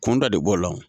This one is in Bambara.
Kunda de b'o la o